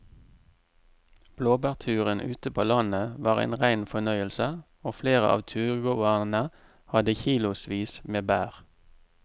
Blåbærturen ute på landet var en rein fornøyelse og flere av turgåerene hadde kilosvis med bær.